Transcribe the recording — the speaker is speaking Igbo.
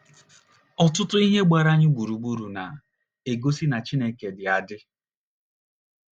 Ọtụtụ ihe gbara anyị gburugburu na - egosi na Chineke dị adị